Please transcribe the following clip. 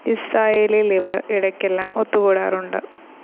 ഇസ്രായേലിൽ ഇവർ ഇടയ്ക്കെല്ലാം ഒത്തുകൂടാറുണ്ട്.